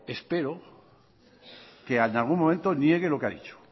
espero que en algún momento niegue lo que ha dicho